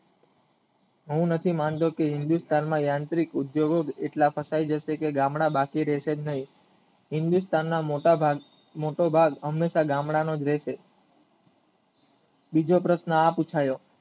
હું નથી માનતો કે વિદ્યત કાનમાં યાંત્રિક ઉદ્યોગો જ એટલા કપાય જશે કે ગંદા બાકી રહેશેજ નહીં હિન્દુસ્તાનના મોટા ભાગ હંમેશા ગામડાંનોજ રહેશે બીજો પ્રશ્ન આ પુછાયો